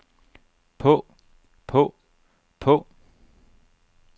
på på på